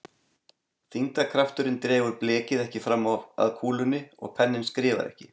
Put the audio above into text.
Þyngdarkrafturinn dregur blekið ekki fram að kúlunni og penninn skrifar ekki.